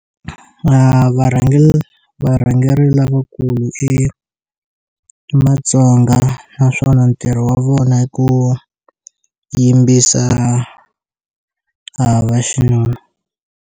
Varhangeri varhangeri lavakulu i matsonga naswona ntirho wa vona ku yimbisa a va xinuna.